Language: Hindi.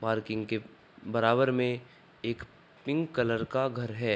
पार्किंग के बराबर में एक पिंक कलर का घर है।